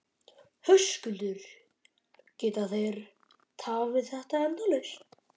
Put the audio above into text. Höskuldur: Geta þeir tafið þetta endalaust?